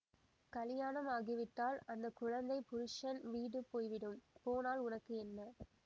கலியாணம் ஆகிவிட்டால் அந்த குழந்தை புருஷன் வீடு போய்விடும் போனால் உனக்கு என்ன